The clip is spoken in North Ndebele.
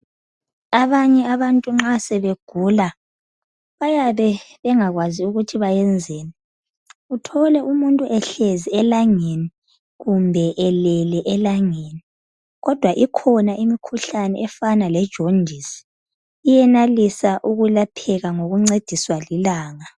Abanye abantu nxa sebegula bayabe bengakwazi ukuthi bayenzeni, uthole umuntu ehlezi elangeni, kumbe elele elangeni, kodwa ikhona imikhuhlane efana le jondisi, iyenelisa ukulapheka ngokuncediswa lilanga.